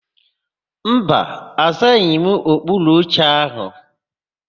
Mba, azaghị m okpuru oche áhụ̀.